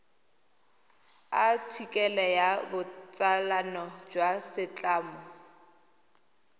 athikele ya botsalano jwa setlamo